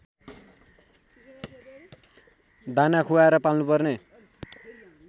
दाना खुवाएर पाल्नुपर्ने